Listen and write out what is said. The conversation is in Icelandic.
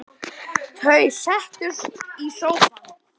Þau settust í sófann.